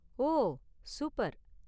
ஓ! Super!